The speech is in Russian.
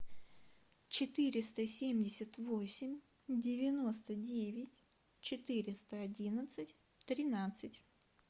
четыреста семьдесят восемь девяносто девять четыреста одиннадцать тринадцать